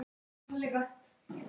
Ég get ekki tapað.